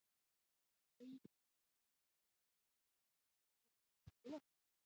Hrund Þórsdóttir: Búa til gott veður?